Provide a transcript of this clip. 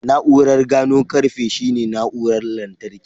Na'urar gano ƙarfe shine na'urar lantarki.